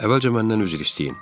Əvvəlcə məndən üzr istəyin.